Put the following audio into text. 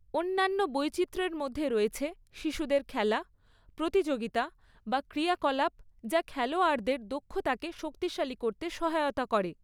অন্যান্য বৈচিত্র্যের মধ্যে রয়েছে শিশুদের খেলা, প্রতিযোগিতা বা ক্রিয়াকলাপ যা খেলোয়াড়দের দক্ষতাকে শক্তিশালী করতে সহায়তা করে।